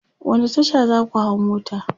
wani Tasha zaka hau mota?